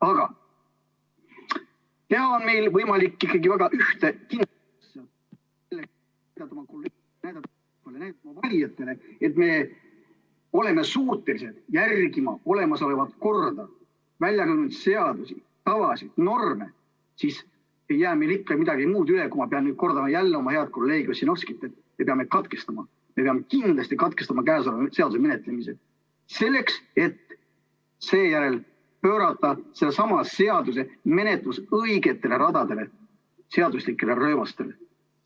Aga teha on meil võimalik ikkagi väga ühte ...... valijatele, et me oleme suutelised järgima olemasolevat korda, väljakujunenud seadusi, tavasid, norme, siis ei jää ikka midagi muud üle, kui ma pean kordama jälle oma hea kolleegi Ossinovski, et me peame katkestama, me peame kindlasti katkestama käesoleva seaduse menetlemise, selleks et seejärel pöörata sellesama seaduse menetlus õigetele radadele, seaduslikele rööbastele.